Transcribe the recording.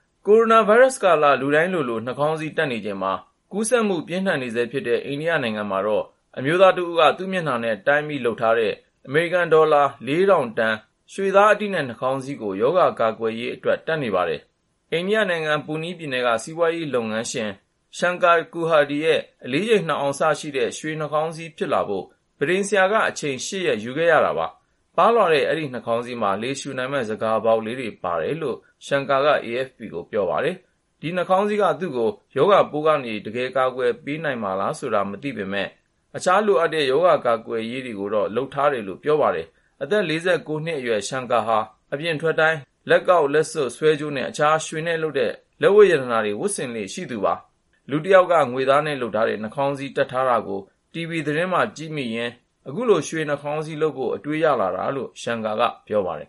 ကိုရိုနာဗိုင်းရပ်စ်ကာလ လူတိုင်းလိုလို နှာခေါင်းစည်းတပ်နေချိန်မှာ ကူးစက်မှု ပြင်းထန်နေဆဲဖြစ်တဲ့ အိန္ဒိယနိုင်ငံမှာတော့ အမျိုးသားတဦးက သူ့မျက်နှာနဲ့ တိုင်းပြီး လုပ်ထားတဲ့ အမေရိကန်ဒေါ်လာ ၄,၀၀၀ တန် ရွှေသားအတိနဲ့ နှာခေါင်းစည်းကို ရောဂါကာကွယ်ရေးအတွက် တပ်နေပါတယ်။ အိန္ဒိယနိုင်ငံ ပူနီးပြည်နယ်က စီးပွားရေးလုပ်ငန်းရှင် Shankar Kurhade ရဲ့ အလေးချိန် ၂ အောင်စရှိတဲ့ ရွှေနှာခေါင်းစည်း ဖြစ်လာဖို့ ပန်းထိမ်ဆရာက အချိန် ၈ ရက် ယူခဲ့ရတာပါ။ ပါးလွှာပြီး နှာခေါင်းစည်းမှာ လေရှူနိုင်မယ့် ဆန်ခါပေါက်လေးတွေ ပါတယ်လို့ Shankar က AFP ကို ပြောပါတယ်။ ဒီ ရွှေနှာခေါင်းစည်းက သူ့ကို ရောဂါပိုးကနေ တကယ်ပဲ ကာကွယ်ပေးနိုင်မှာလားဆိုတာ သေချာမသိပေမယ့် သူကတော့ အခြားလိုအပ်တဲ့ ရောဂါကာကွယ်ရေးတွေကိုလည်း လုပ်ထားပါတယ်လို့ ပြောပါတယ်။ အသက် ၄၉ နှစ်အရွယ် Shankar ဟာ အပြင်ထွက်တိုင်း လက်ကောက် လက်စွပ် ဆွဲကြိုးနဲ့ အခြား ရွှေနဲ့လုပ်တဲ့ လက်ဝတ်ရတနာတွေ ဝတ်ဆင်လေ့ရှိတာပါ။ လူတယောက်က ငွေနဲ့လုပ်ထားတဲ့ နှာခေါင်းစည်းတပ်ထားတာကို တီဗွီသတင်းမှာ ကြည့်မိရင်း အခုလို ရွှေနှာခေါင်းစည်းလုပ်ဖို့ အတွေးရလာတာလို့ Shankar က ပြောပါတယ်